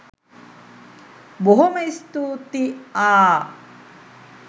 බොහොම ස්තූතී ආ